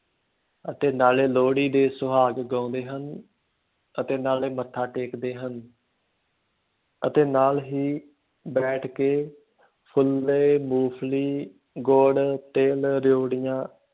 ਅਤੇ ਨਾਲੇ ਲੋਹੜੀ ਦੇ ਸੁਹਾਗ ਗਾਉਂਦੇ ਹਨ ਅਤੇ ਨਾਲੇ ਮੱਥਾ ਟੇਕਦੇ ਹਨ ਅਤੇ ਨਾਲ ਹੀ ਬੈਠ ਕੇ ਫੁੱਲੇ, ਮੂੰਫਲੀ, ਗੁੜ, ਤਿੱਲ, ਰਿਓੜੀਆਂ